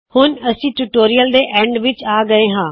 ਹੁਣ ਅਸੀ ਟਯੂਟੋਰਿਯਲ ਦੇ ਅੰਤ ਵਿੱਚ ਆ ਗਏ ਹਾ